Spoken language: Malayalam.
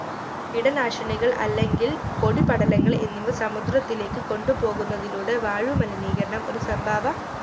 കീടനാശിനികൾ അല്ലെങ്കിൽ പൊടി പടലങ്ങൾ എന്നിവ സമുദ്രത്തിലേക്ക് കൊണ്ടുപോകുന്നതിലൂടെ വായു മലിനീകരണം ഒരു സംഭാവ